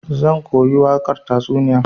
Zan koyi wakar tatsuniyan.